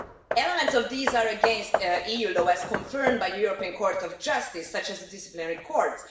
Elements of these are against EU law, as confirmed by the European Court of Justice such as the disciplinary courts.